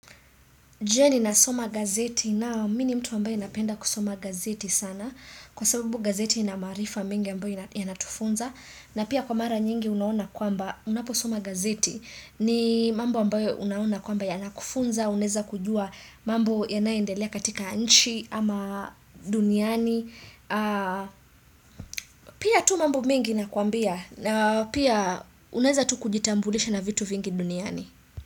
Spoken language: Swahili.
Je ninasoma gazeti? Naam mimi ni mtu ambaye napenda kusoma gazeti sana kwa sababu gazeti ina maarifa mingi ambayo yanatufunza na pia kwa mara nyingi unaona kwamba unaposoma gazeti ni mambo ambayo unaona kwamba yanakufunza, unaweza kujua mambo yanayoendelea katika nchi ama duniani. Pia tu mambo mengi nakuambia na pia unaweza tu kujitambulisha na vitu vingi duniani.